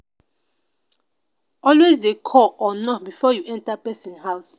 alway de call or knock before you enter person house